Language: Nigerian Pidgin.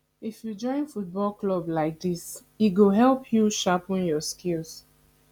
if you join football club like dis e go help you sharpen your skills